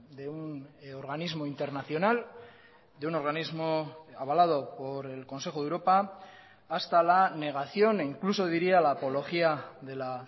de un organismo internacional de un organismo avalado por el consejo de europa hasta la negación e incluso diría la apología de la